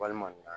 Walima